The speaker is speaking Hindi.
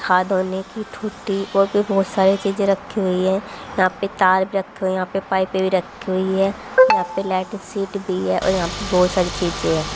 हाथ धोने की थूटी और भी बहुत सारे चीजें रखी हुई हैं यहां पे तार भी रखे हुए यहां पे पाइपें भी रखी हुई हैं यहां पे लाइट सीट भी है और यहां पे बहुत सारी चीजें हैं।